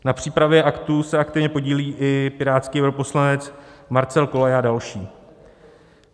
Na přípravě aktu se aktivně podílí i pirátský europoslanec Marcel Kolaja a další.